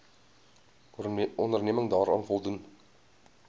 onderneming daaraan voldoen